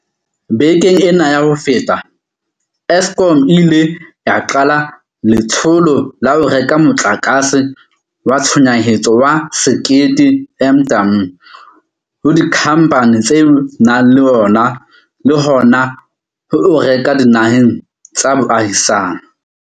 Bekeng ena ya ho feta, Eskom e ile ya qala letsholo la ho reka motlakase wa tshohanyetso wa 1 000 MW ho dikhamphane tse nang le ona le hona ho o reka dinaheng tsa boahisane.